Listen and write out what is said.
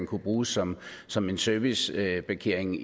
kunne bruges som som en serviceparkering